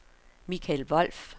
Michael Wolff